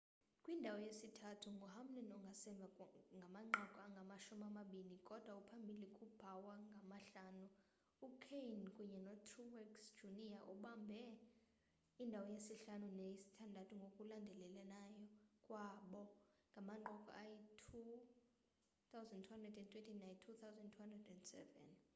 kwindawo yesithathu nguhamlin ongasemva ngamanqaku angamashumi amabini kudwa uphambili kubowyer ngamahlanu ukahne kunye notruex jr babambe indawo yesihlanu neyesithandathu ngokulandelelana kwabo ngamanqaku ayi-2,220 nayi-2,207